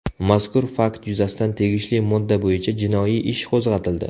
Mazkur fakt yuzasidan tegishli modda bo‘yicha jinoiy ish qo‘zg‘atildi.